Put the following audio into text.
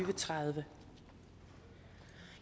og tredive